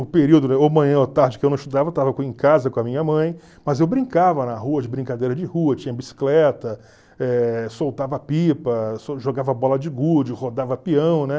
O período ou manhã ou tarde, que eu não estudava, eu estava em casa com a minha mãe, mas eu brincava na rua, de brincadeira de rua, tinha bicicleta, eh soltava pipa, jogava bola de gude, rodava peão, né?